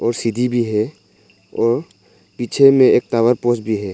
और सीधी भी है और पीछे में एक टावर पोस्ट भी है।